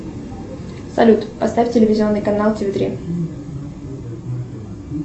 салют поставь телевизионный канал тв три